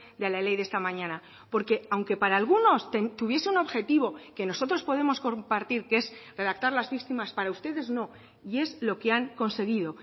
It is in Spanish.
de la ley de esta mañana porque aunque para algunos tuviese un objetivo que nosotros podemos compartir que es redactar las víctimas para ustedes no y es lo que han conseguido